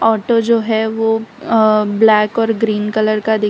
auto जो है वो ब्लैक और ग्रीन कलर का दिख --